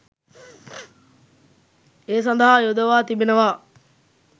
ඒ සඳහා යොදවා තිබෙනවා